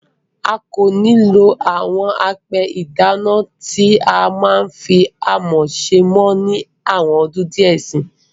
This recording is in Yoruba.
A kò ní lo àwọn apẹ ìdáná tí a fí amọ̀ ṣe mọ́ ni àwọn ọdún díẹ̀ síi.